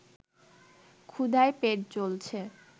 ক্ষুধায় পেট জ্বলছে